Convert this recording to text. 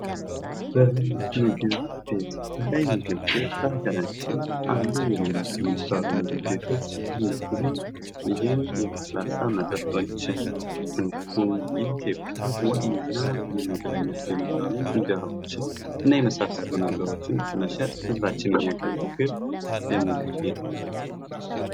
በላይ ምግብ ቤት፦ በላይ ምግብ ቤት በሀገራችን አሉ ከሚባሉ ምግብ ቤቶች ውስጥ አንዱ ሲሆን ይህም የለስላሳ መጠጥ እንዲሁም የኢትዮጵያ ዋነኛ የሚባሉ የምግብ ዓይነቶችን እና የመሳሰሉ ነገሮችን በመሸጥ ህዝባችንን የሚያገለግል የምግብ ቤት ነው።